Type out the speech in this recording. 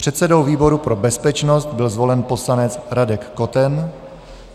Předsedou výboru pro bezpečnost byl zvolen poslanec Radek Koten.